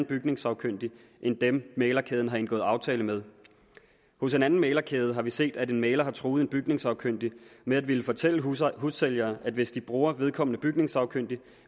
bygningssagkyndige end dem mæglerkæden har indgået aftale med hos en anden mæglerkæde har vi set at en mægler har truet en bygningssagkyndig med at ville fortælle hussælgere at hvis de bruger vedkommende bygningssagkyndige